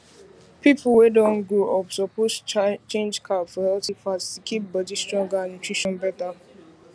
people wey don grow up suppose change carb for healthy fat to keep body stronger and nutrition better